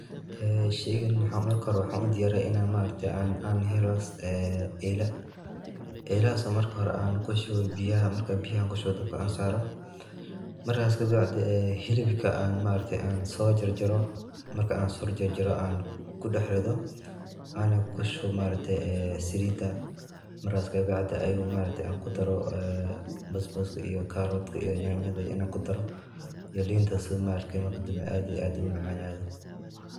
Oo sheygaan markaa hoore waxan uu diyariiya inaan maaragte aah heelo eela. eelahas oo markaa aan kuu shuuwo biyaaha markaa aan biyahaa kuu shuubo dabkaa aan saaro. markaas kaa bacdii ee hilibka aan maaragte aan soo jaar jaaro maarka aan soo jaar jaar aan kuu dheex riido anaa kuu shuubo maaragte ee salidaa markaas kaa bacdii ayuu maaragte aan kuu daaro baasbaska iyo carrot kaa iyo yanyaada iyo inaan kuu daaro iyo liintas sii maaragte markaa dambee aad iyo aad uu macanado.